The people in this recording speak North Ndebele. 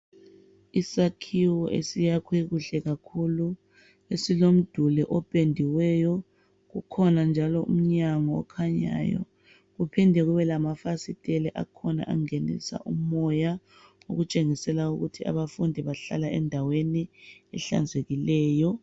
Isakhiwo esiyakhwe kuhle kakhulu. Esilomduli opendiweyo. Kukhona njalo umnyango okhanyayo kuphinde kube lamafasiteli akhona angenisa umoya. Okutshengisela ukuthi abafundi bahlala endaweni ehlanzekileyo.